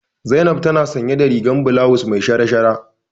Zainab tana sanye da rigar bulawus me shara-shara.